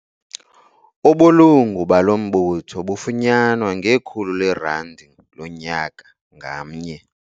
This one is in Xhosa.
Ubulungu balo mbutho bufunyanwa ngekhulu leerandi lonyaka ngamnye.